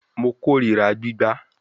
Mo korira gbigba